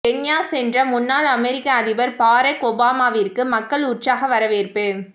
Kenya சென்ற முன்னாள் அமெரிக்க அதிபர் பாரக் ஒபாமாவிற்கு மக்கள் உற்சாக வரவேற்பு